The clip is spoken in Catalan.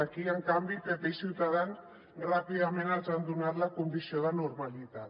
aquí en canvi pp i ciutadans ràpidament els han donat la condició de normalitat